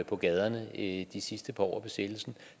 på gaderne i de sidste par år af besættelsen